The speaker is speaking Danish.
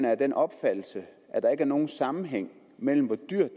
af den opfattelse at der ikke er nogen sammenhæng mellem hvor dyrt